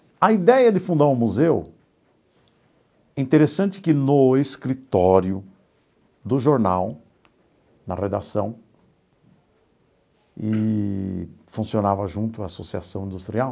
A ideia de fundar um museu, interessante que no escritório do jornal, na redação, eee funcionava junto a associação industrial,